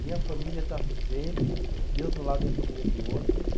Minha família está sempre. Deus de um lado, minha família do outro. E